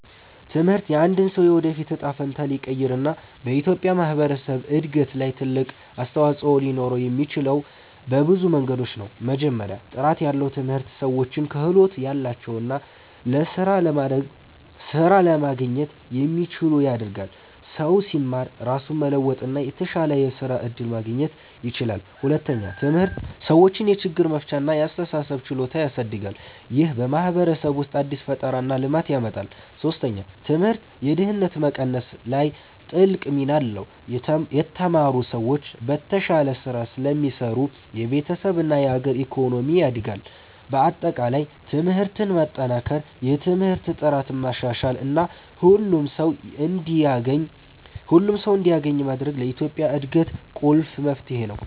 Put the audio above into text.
ትምህርት የአንድን ሰው የወደፊት እጣ ፈንታ ሊቀይር እና በኢትዮጵያ ማህበረሰብ እድገት ላይ ትልቅ አስተዋፅኦ ሊኖረው የሚችለው በብዙ መንገዶች ነው። መጀመሪያ፣ ጥራት ያለው ትምህርት ሰዎችን ክህሎት ያላቸው እና ስራ ለማግኘት የሚችሉ ያደርጋል። ሰው ሲማር ራሱን መለወጥ እና የተሻለ የስራ እድል ማግኘት ይችላል። ሁለተኛ፣ ትምህርት ሰዎችን የችግር መፍቻ እና የአስተሳሰብ ችሎታ ያሳድጋል። ይህ በማህበረሰብ ውስጥ አዲስ ፈጠራ እና ልማት ያመጣል። ሶስተኛ፣ ትምህርት የድህነት መቀነስ ላይ ትልቅ ሚና አለው። የተማሩ ሰዎች በተሻለ ስራ ስለሚሰሩ የቤተሰብ እና የአገር ኢኮኖሚ ያድጋል። በአጠቃላይ ትምህርትን ማጠናከር፣ የትምህርት ጥራትን ማሻሻል እና ሁሉም ሰው እንዲያገኝ ማድረግ ለኢትዮጵያ እድገት ቁልፍ መፍትሄ ነው።